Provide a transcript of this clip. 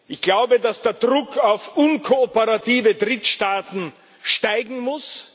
Ich glaube, dass der Druck auf unkooperative Drittstaaten steigen muss.